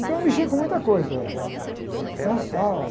Então eu mexia com muita coisa, tá?